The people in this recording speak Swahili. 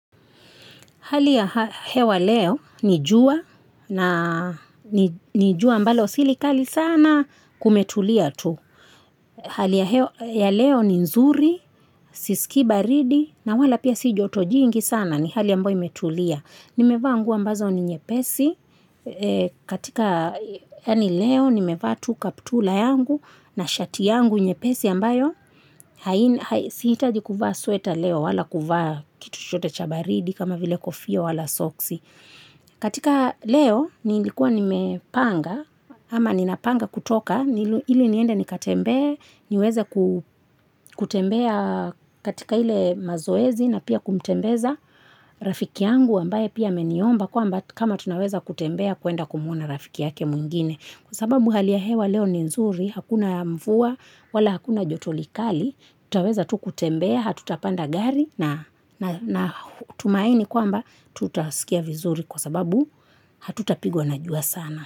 Hali ya hewa leo, nijua, na nijua ambalo silikali sana kumetulia tu. Hali ya leo ni nzuri, sisiki baridi, na wala pia sijoto jingi sana ni hali ya ambayo imetulia. Nimevaa nguo ambazo ni nyepesi, katika yaani leo, nimevaa tu kaptula yangu, na shati yangu nyepesi ambayo. Sihitaji kuvaa sweta leo wala kuvaa kitu chochote cha baridi kama vile kofia wala soksi. Katika leo nilikua nimepanga ama ninapanga kutoka ili niende nikatembe niweze kutembea katika ile mazoezi na pia kumtembeza rafiki yangu ambaye pia ameniomba kwamba kama tunaweza kutembea kuenda kumuona rafiki yake mwingine. Kwa sababu hali ya hewa leo ni nzuri, hakuna mvua, wala hakuna joto kali, tutaweza tu kutembea, hatutapanda gari natumaini kwamba tutasikia vizuri kwa sababu hatutapigwa na jua sana.